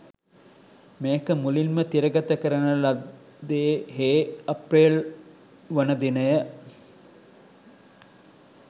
මේක මුලින්ම තිරගත කරන ලද්දේහේ අප්‍රේල්වන දිනය.